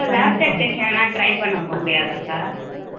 lab technician மாதிரி try பண்ணி போக முடியாதாக்கா.